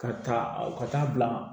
Ka taa ka taa bila